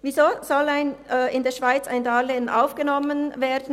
Weshalb soll in der Schweiz ein Darlehen aufgenommen werden?